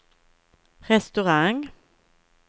restaurang